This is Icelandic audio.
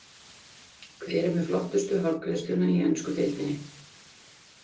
Hver er með flottustu hárgreiðsluna í ensku deildinni?